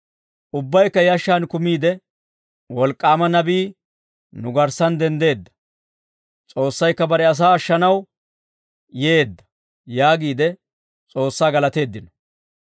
Ubbaykka yashshaan kumiide, «Wolk'k'aama nabii nu garssan denddeedda; S'oossaykka bare asaa ashshanaw yeedda!» yaagiide S'oossaa galateeddino.